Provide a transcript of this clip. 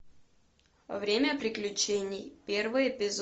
время приключений первый эпизод